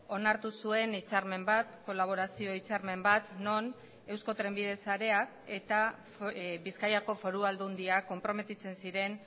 onartu zuen hitzarmen bat kolaborazio hitzarmen bat non eusko trenbide sareak eta bizkaiko foru aldundiak konprometitzen ziren